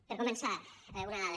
per començar una dada